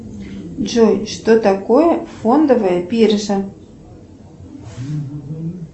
джой что такое фондовая биржа